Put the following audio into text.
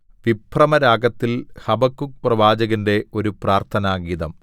വിഭ്രമരാഗത്തിൽ ഹബക്കൂക്ക് പ്രവാചകന്റെ ഒരു പ്രാർത്ഥനാഗീതം